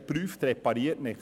wer prüft, repariert nicht.